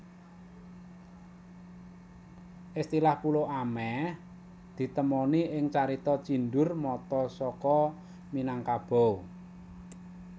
Istilah pulo ameh ditemoni ing carita Cindur Mata saka Minangkabau